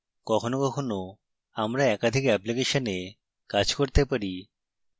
কখনও কখনও আমরা একাধিক অ্যাপ্লিকেশনে কাজ করতে পারি